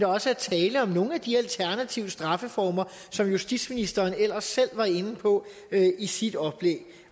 også er tale om nogle af de alternative straffeformer som justitsministeren ellers selv var inde på i sit oplæg